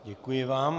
Děkuji vám.